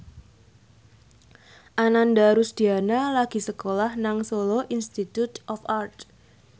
Ananda Rusdiana lagi sekolah nang Solo Institute of Art